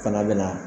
Fana bɛ na